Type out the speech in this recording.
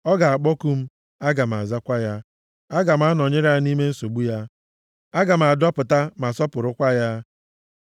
Ọ ga-akpọku m, aga m azakwa ya. Aga m anọnyere ya nʼime nsogbu ya, aga m adọpụta, ma sọpụrụkwa ya. + 91:15 \+xt Job 12:4; Abụ 50:15; Aịz 43:2\+xt*